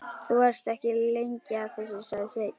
Þú varst ekki lengi að þessu, sagði Sveinn.